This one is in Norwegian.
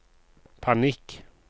panikk